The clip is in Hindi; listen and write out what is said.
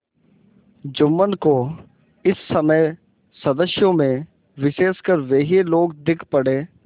जुम्मन को इस समय सदस्यों में विशेषकर वे ही लोग दीख पड़े